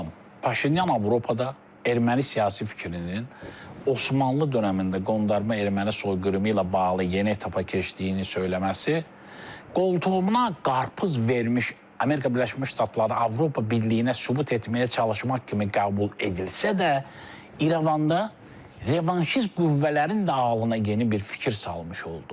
Paşinyan Avropada erməni siyasi fikrinin, Osmanlı dönəmində qondarma erməni soyqırımı ilə bağlı yeni etap keçdiyini söyləməsi qoltuğuna qarpız vermiş, Amerika Birləşmiş Ştatları Avropa Birliyinə sübut etməyə çalışmaq kimi qəbul edilsə də, İrəvanda revanşist qüvvələrin də alına yeni bir fikir salmış oldu.